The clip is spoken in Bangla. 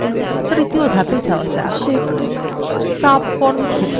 তৃতীয় ধাপে যাওয়া যাক subform ক্ষেত্র যোগ করা